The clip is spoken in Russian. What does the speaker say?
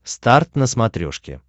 старт на смотрешке